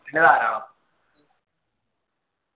ന്നെ ധാരാളം